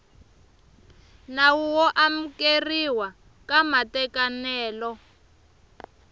nawu wo amukeriwa ka matekanelo